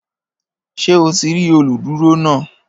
Ṣé o ti rí olùdúró náà?